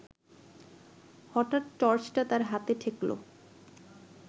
হঠাৎ টর্চটা তার হাতে ঠেকল